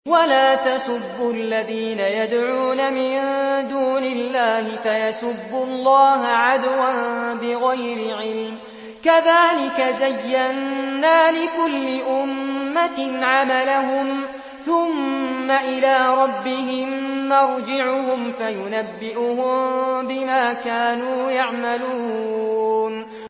وَلَا تَسُبُّوا الَّذِينَ يَدْعُونَ مِن دُونِ اللَّهِ فَيَسُبُّوا اللَّهَ عَدْوًا بِغَيْرِ عِلْمٍ ۗ كَذَٰلِكَ زَيَّنَّا لِكُلِّ أُمَّةٍ عَمَلَهُمْ ثُمَّ إِلَىٰ رَبِّهِم مَّرْجِعُهُمْ فَيُنَبِّئُهُم بِمَا كَانُوا يَعْمَلُونَ